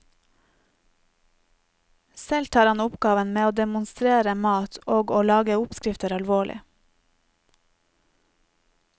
Selv tar han oppgaven med å demonstrere mat og å lage oppskrifter alvorlig.